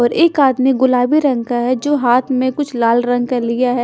और एक हाथ मे कुस गुलाबी रंग का है जो हाथ में कुछ लाल रंग का लिया है।